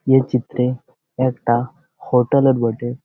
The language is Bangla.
এ চিত্রে একটা হোটেল এর বটে।